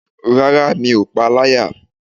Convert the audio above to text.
Rárá, mi ò pá a láyà.